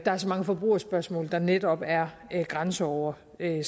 er så mange forbrugerspørgsmål der netop er grænseoverskridende